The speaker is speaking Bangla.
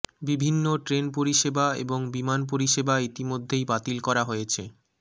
বিভিন্ন ট্রেন পরিষেবা এবং বিমান পরিষেবা ইতিমধ্যেই বাতিল করা হয়েছে